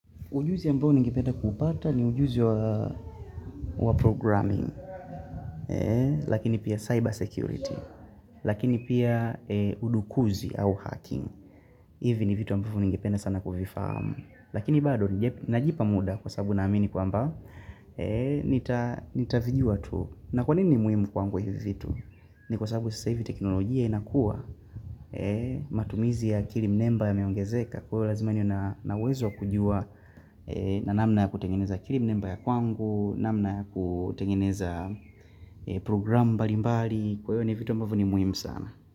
Ujuzi ambao ningipenda kupata ni ujuzi wa programming, lakini pia cyber security, lakini pia udukuzi au hacking. Hivi ni vitu ambao ningependa sana kufifahamu. Lakini bado najipa muda kwa sababu na amini kwa mba, nitavijua tu. Na kwa nini ni muimu kwangu hivitu? Ni kwa sababu sasa hivi teknolojia inakua matumizi ya kilim number ya meongezeka. Kwa ivo lazima niwe nawezo kujua na namna ya kutengeneza kiri mnimbaya kwangu namna ya kutengeneza programu mbalimbali Kwa ivo ni vitu ambavo ni muhimu sana.